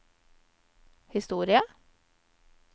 historie